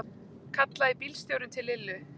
kallaði bílstjórinn til Lillu.